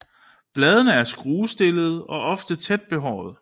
Bladene er skruestillede og ofte tæt behårede